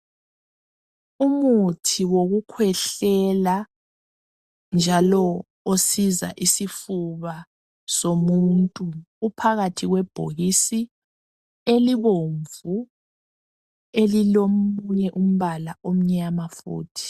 Umuthi wokukwehlela njalo osiza isifuba somuntu uphakathi kwebhokisi elibomvu njalo elilomunye umbala omnyama futhi.